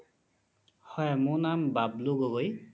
হয় মোৰ নাম বাব্লু গগৈ